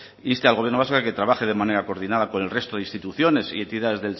inste al gobierno vasco a que trabaje de manera coordinada con el resto de instituciones y entidades